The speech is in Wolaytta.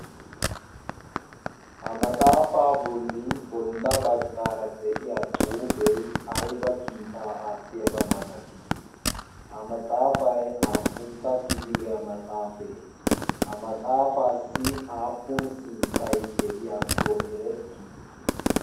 Ha maxaafaa bolli bolla baggaara de7iya xuufee aybba kiitaa aattiyaabaa malatii? Ha maxaafay aappuntta kifiliyaa maxaafee ha maxaafaassi aappun sinttay de7iyaakko erettii?